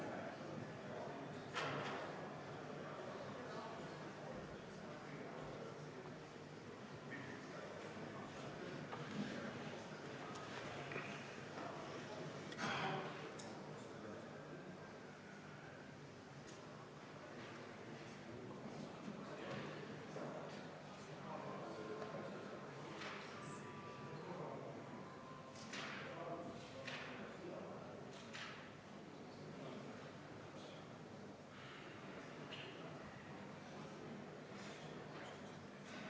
Hääletustulemused Kaheksanda muudatusettepaneku poolt hääletas 21 Riigikogu liiget, vastu oli 50, erapooletuid oli 1.